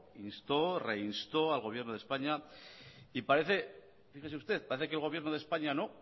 instó reinstó al gobierno de españa y parece fíjese usted parece que el gobierno de españa no